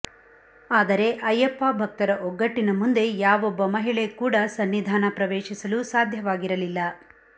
ಆದರೆ ಅಯ್ಯಪ್ಪ ಭಕ್ತರ ಒಗ್ಗಟ್ಟಿನ ಮುಂದೆ ಯಾವೊಬ್ಬ ಮಹಿಳೆ ಕೂಡ ಸನ್ನಿಧಾನ ಪ್ರವೇಶಿಸಲು ಸಾಧ್ಯವಾಗಿರಲಿಲ್ಲ